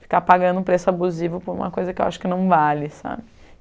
Ficar pagando preço abusivo por uma coisa que eu acho que não vale, sabe?